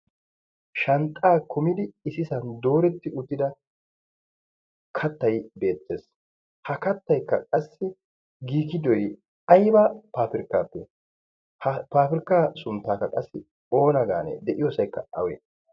shanxxaa kumidi isisan dooretti uttida kattay beettees ha kattaykka qassi giigidoy aiba paafirkkaappe ha paafirkka sunttaakka qassi oona gaanee de'iyoosaykka awee?